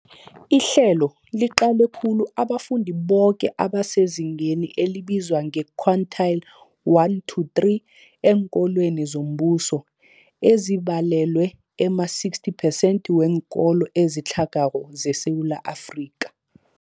Ihlelo liqale khulu abafundi boke abasezingeni elibizwa nge-quintile 1-3 eenkolweni zombuso, ezibalelwa ema-60 phesenthi weenkolo ezitlhagako zeSewula Afrika.